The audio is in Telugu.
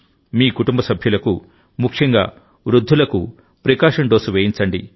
మీ కుటుంబ సభ్యులకుముఖ్యంగా వృద్ధులకు ప్రి కాషన్ డోసు వేయించండి